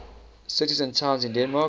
cities and towns in denmark